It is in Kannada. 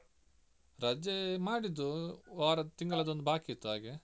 ರಜೆ ಮಾಡಿದ್ದು ವಾರ ತಿಂಗಳದ್ದು ಒಂದು ಬಾಕಿ ಇತ್ತು ಹಾಗೆ.